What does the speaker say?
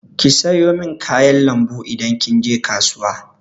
Ki sayo min kayan lambu idan kin je kasuwa!